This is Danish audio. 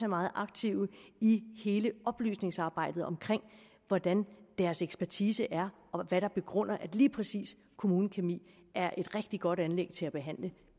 meget aktiv i hele oplysningsarbejdet om hvordan deres ekspertise er og hvad der begrunder at lige præcis kommunekemi er et rigtig godt anlæg til at behandle